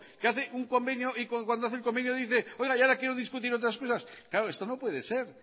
que hace un convenio y cuando hace el convenio dice ahora quiero discutir otras cosas claro esto no puede ser